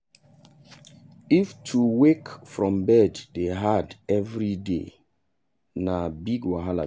if to wake from bed dey hard every day na big wahala be that.